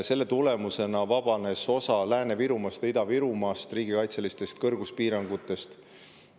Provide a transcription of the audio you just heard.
Selle tulemusena vabanes osa Lääne-Virumaast ja Ida-Virumaast riigikaitselistest kõrguspiirangutest.